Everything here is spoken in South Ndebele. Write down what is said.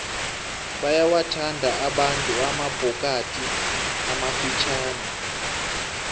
bayawathanda abantu amabhokadi amafitjhani